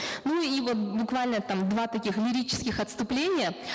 ну и вот буквально там два таких лирических отступления